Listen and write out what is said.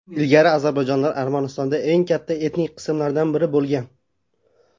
Ilgari ozarbayjonlar Armanistonda eng katta etnik qismlardan biri bo‘lgan.